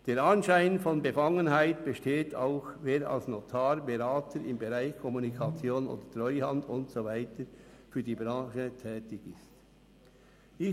Der Anschein von Befangenheit besteht auch hier: Wer als Notar, Berater im Bereich Kommunikation oder Treuhand und so weiter für die Branche tätig ist.